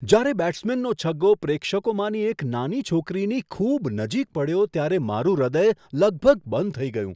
જ્યારે બેટ્સમેનનો છગ્ગો પ્રેક્ષકોમાંની એક નાની છોકરીની ખૂબ નજીક પડ્યો ત્યારે મારું હૃદય લગભગ બંધ થઈ ગયું.